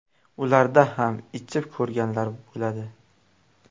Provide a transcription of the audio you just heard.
Ularda ham ichib ko‘rganlar bo‘ladi.